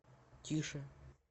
тише